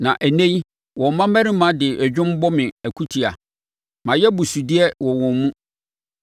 “Na ɛnnɛ yi wɔn mmammarima de dwom bɔ me akutia; mayɛ abusudeɛ wɔ wɔn mu.